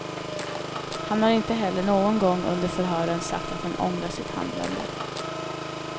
Han har inte heller någon gång under förhören sagt att han ångrar sitt handlande.